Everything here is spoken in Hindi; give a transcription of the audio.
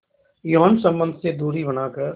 यौन संबंध से दूरी बनाकर